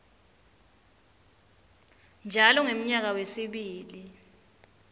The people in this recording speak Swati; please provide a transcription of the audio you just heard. njalo ngemnyaka wesibili